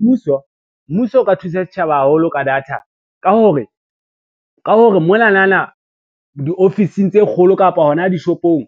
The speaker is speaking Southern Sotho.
Mmuso o ka thusa setjhaba haholo ka data ka hore monanana diofising tse kgolo kapa hona dishopong,